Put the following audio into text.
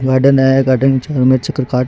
garden है garden के चारो मेर चक्कर काट --